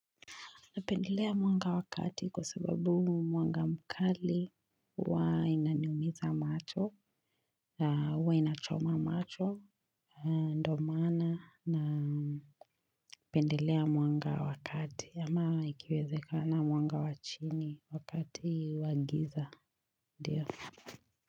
Napendelea mwanga wa kati kwa sababu mwanga mkali huwainaniumiza macho, na huwainachoma macho, ndo maana na pendelea mwanga wakati ama ikiwezekana mwanga wa chini wakati wa giza, ndio.